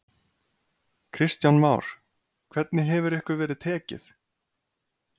Kristján Már: Hvernig hefur ykkur verið tekið?